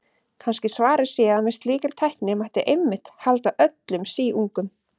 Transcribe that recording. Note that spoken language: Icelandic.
Kannski svarið sé að með slíkri tækni mætti einmitt halda öllum síungum.